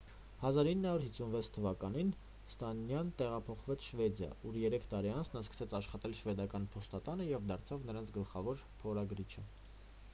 1956 թվականին ստանյան տեղափոխվեց շվեդիա ուր երեք տարի անց նա սկսեց աշխատել շվեդական փոստատանը և դարձավ նրանց գլխավոր փորագրիչը